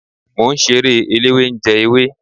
Mọ ń ṣeré eléwé ń jẹ ewé.